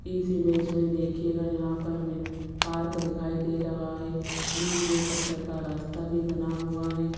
इस इमेज में देखिएगा यहां पर हमें पार्क दिखाई दे रहा है बीच में पत्थर का रास्ता भी बना हुआ है।